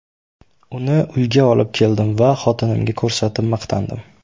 Uni uyga olib keldim va xotinimga ko‘rsatib maqtandim.